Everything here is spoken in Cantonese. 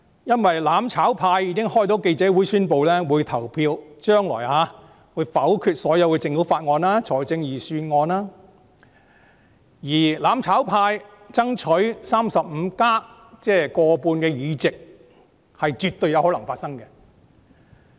因為"攬炒派"已經舉行記者招待會，宣布將來會投票否決政府提交的所有法案和預算案，而"攬炒派"爭取 "35+" 的目標絕對有可能達成。